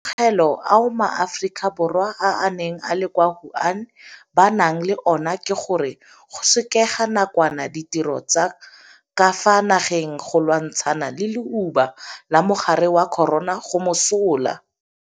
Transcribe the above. Maitemogelo ao maAforika Borwa a a neng a le kwa Wuhan ba nang le ona ke gore go sekega nakwana ditiro tsa ka fa nageng go lwantshana le leuba la mogare wa corona go mosola.